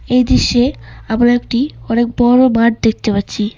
এই দৃশ্যে আমরা একটি অনেক বড় মাঠ দেখতে পাচ্ছি।